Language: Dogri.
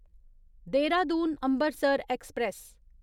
देहरादून अम्बरसर ऐक्सप्रैस